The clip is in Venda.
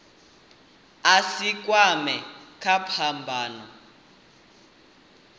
a si kwamee kha phambano